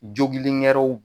Jogilin wɛrɛw